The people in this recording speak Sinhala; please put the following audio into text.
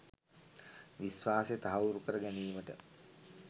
විශ්වාසය තහවුරු කර ගැනීමට